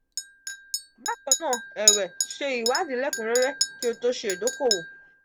bakanna ewe se iwadi lekunrere ki o to se idokowo.